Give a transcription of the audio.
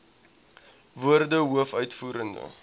woorde hoof uitvoerende